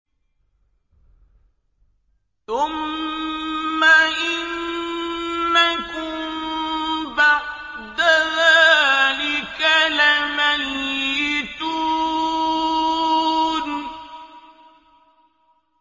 ثُمَّ إِنَّكُم بَعْدَ ذَٰلِكَ لَمَيِّتُونَ